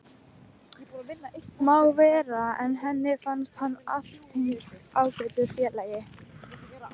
Má vera, en henni fannst hann allténd ágætur félagi.